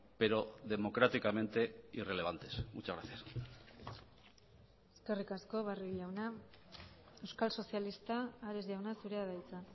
pero democráticamente irrelevantes muchas gracias eskerrik asko barrio jauna euskal sozialista ares jauna zurea da hitza